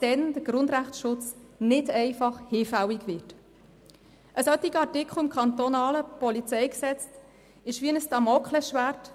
Ein solcher Artikel im kantonalen PolG ist wie ein Damoklesschwert.